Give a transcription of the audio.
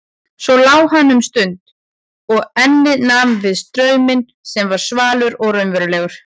Svo lá hann um stund og ennið nam við strauminn sem var svalur og raunverulegur.